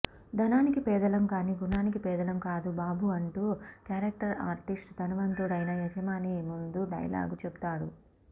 ధనానికి పేదలం కానీ గుణానికి పేదలం కాదు బాబు అంటూ క్యారెక్టర్ ఆర్టిస్ట్ ధనవంతుడైన యజమాని ముందు డైలాగు చెబుతాడు